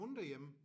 Kun derhjemme?